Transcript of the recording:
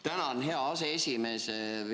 Tänan, hea aseesimees!